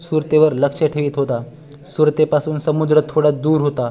सुरते वर लक्ष ठेवीत होता सुरते पासून समुद्र थोडा दूर होता